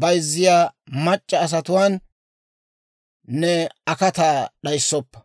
bayzziyaa mac'c'a asatuwaan ne akataa d'ayissoppa.